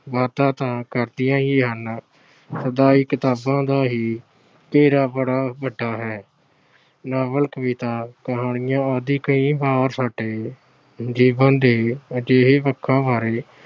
ਵਾਧਾ ਤਾਂ ਕਰਦੀਆਂ ਹੀ ਹਨ। ਕਿਤਾਬਾਂ ਦਾ ਹੀ ਘੇਰਾ ਬੜਾ ਵੱਡਾ ਹੈ। ਨਾਵਲ, ਕਵਿਤਾ, ਕਹਾਣੀਆਂ ਆਦਿ ਸਾਡੇ ਜੀਵਨ ਦੇ ਅਜਿਹੇ ਪੱਖਾਂ ਬਾਰੇ